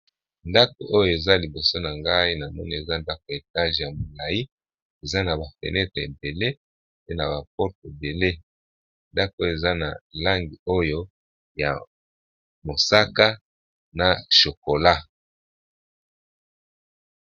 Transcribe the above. ndako oyo eza liboso na ngai na moni eza ndako ya etage ya molai eza na ba fenetre ebele pe na ba porte ebele ndako eza na langi oyo ya mosaka na chokola.